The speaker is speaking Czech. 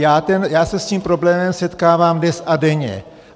Já se s tím problémem setkávám dnes a denně.